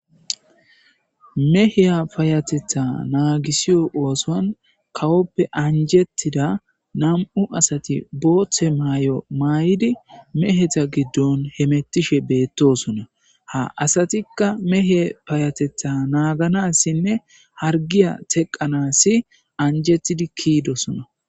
meheya payatetha naagisiyo oosan kawoppe anjettida nam7u asati booththe maay7o maay7idi meheta giddon hemettishe beettosona ha asatikka mehe payatetha naaganassinne hargiya teqanasi anjettidi kiidosona